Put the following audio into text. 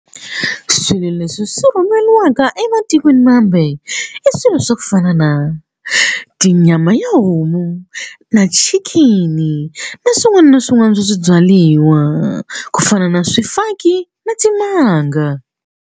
Swilo leswi swi rhumeriwaka ematikweni mambe i swilo swa ku fana na tinyama ya homu na chicken na swin'wana na swin'wana swa swibyariwa ku fana na swifaki na timanga.